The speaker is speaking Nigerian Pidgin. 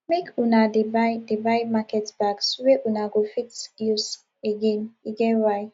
make una dey buy dey buy market bags wey una go fit use again e get why